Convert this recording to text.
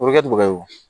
O bɛ kɛ bubaga ye